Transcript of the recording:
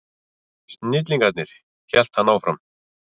Snillingarnir, hélt hann áfram.